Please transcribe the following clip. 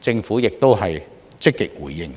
政府亦積極回應。